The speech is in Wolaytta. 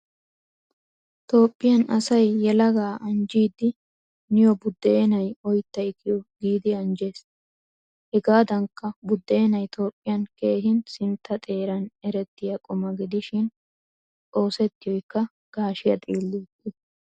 Toophphiyan asay yelaga anjjidi niyo budenay, oyttay kiyo giidi anjjees. Hegadankka budenay toophphiyaan keehin sintta xeeran erettiya quma gidishin oosettiyoykka gashshiyaa xiliyappe.